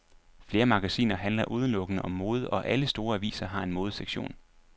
Flere magasiner handler udelukkende om mode, og alle store aviser har en modesektion.